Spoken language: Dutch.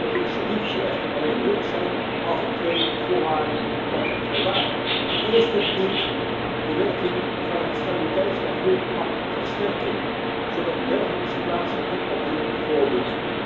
Het initiatief zal echter alleen nuttig zijn als aan twee voorwaarden wordt voldaan. Ten eerste verdient de werking van het stabiliteits en groeipact versterking, zodat een dergelijke situatie zich niet opnieuw voordoet.